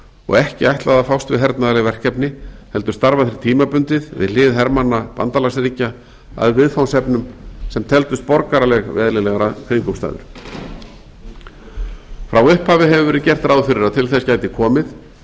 og ekki ætlað að fást við hernaðarleg verkefni heldur starfa þeir tímabundið við hlið hermanna bandalagsríkja að viðfangsefnum sem teldust borgaraleg við eðlilegar kringumstæður frá upphafi hefur verið gert ráð fyrir að til þess gæti komið